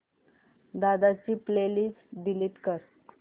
दादा ची playlist delete कर